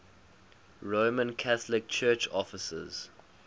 roman catholic church offices